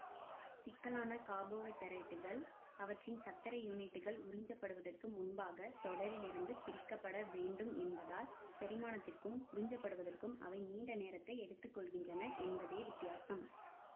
சிக்கலான காபோவைதரேட்டுகள் அவற்றின் சர்க்கரை யூனிட்கள் உறிஞ்சப்படுவதற்கு முன்பாக தொடரிலிருந்து பிரிக்க பட வேண்டும் என்பதால் செரிமானத்திற்கும் உறிஞ்சப்படுவதற்கும் அவை நீண்ட நேரத்தை எடுத்துக்கொள்கின்றன என்பதே வித்தியாசம்